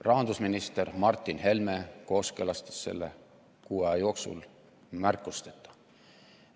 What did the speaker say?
Rahandusminister Martin Helme kooskõlastas selle kuu aja jooksul märkusteta.